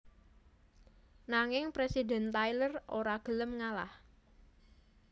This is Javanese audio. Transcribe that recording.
Nanging Presiden Tyler ora gelem ngalah